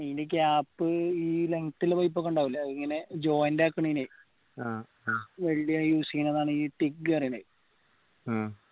ഇന്റെ gap ഈ length ഇള്ള pipe ഒക്കെ ഇണ്ടാവൂലെ അത് ഇങ്ങനെ joint ആക്കണന് use ചെയ്യുന്നതാണ് ഈ റ്റിഗ്ഗ് എന്ന് പറീണത്